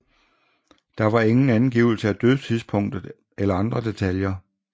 Der var ingen angivelse af dødstidspunktet eller andre detaljer